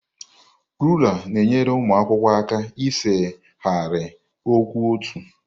Rulaa na-enyere ụmụ akwụkwọ aka ise ahịrị kwụ ọtọ.